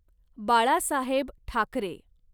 Balasaheb Thackeray